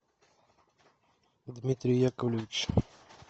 дмитрий яковлевич